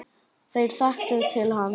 Þeir þekktu til hans.